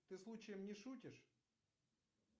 ты случаем не шутишь